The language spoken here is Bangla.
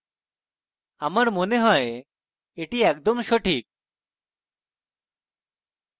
আমার মনে হয় এটি একদম সঠিক